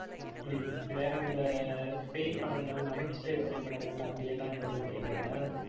ஹம் வேற எந்த பேய் படங்கள், நகைச்சுவைத் திரைப்படங்கள் அப்படியெல்லாம் எதுவும் பிடிக்காதா